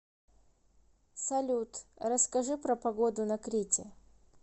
салют расскажи про погоду на крите